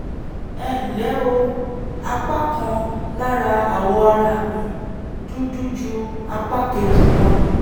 ẹ ǹlẹ́ o apá kan lára awọ ara mi dúdú ju apá kejì lọ